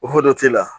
O hokumu la